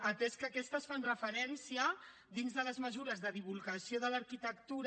atès que aquestes fan referència dins de les mesures de divulgació de l’arquitectura